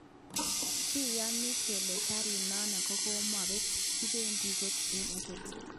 Kiyaaani kele garit nano kokopet, kimendi kot en kot.